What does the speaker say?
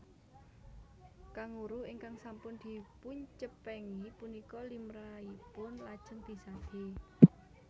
Kanguru ingkang sampun dipuncepengi punika limrahipun lajeng disadé